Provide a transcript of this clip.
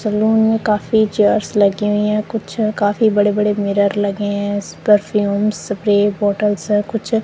salon में काफी chairs लगी हुई है कुछ काफी बड़े बड़े मिरर लगे हैं इस परफ्यूम स्प्रे बॉटल्स है कुछ--